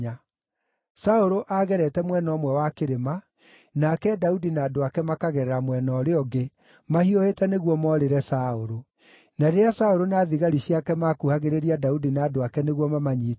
Saũlũ aagerete mwena ũmwe wa kĩrĩma, nake Daudi na andũ ake makagerera mwena ũrĩa ũngĩ, mahiũhĩte nĩguo morĩre Saũlũ. Na rĩrĩa Saũlũ na thigari ciake maakuhagĩrĩria Daudi na andũ ake nĩguo mamanyiite-rĩ,